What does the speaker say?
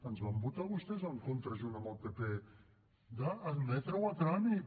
ens van votar vostès en contra junt amb el pp d’admetre ho a tràmit